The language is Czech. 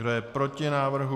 Kdo je proti návrhu?